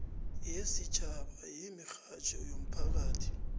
yesitjhaba yemirhatjho yomphakathi